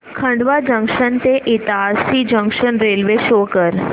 Khandwa junction ते Itarsi junction railway शो कर